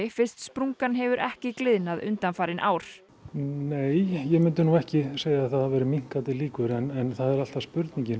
fyrst sprungan hefur ekki gliðnað undanfarið ár nei ég myndi nú ekki segja að það væri minnkandi líkur en það er alltaf spurningin